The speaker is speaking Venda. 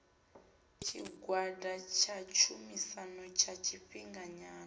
tshigwada tsha tshumisano tsha tshifhinganyana